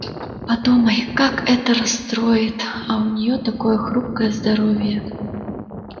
подумай как это расстроит а у неё такое хрупкое здоровье